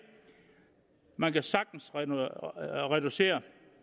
man kan sagtens reducere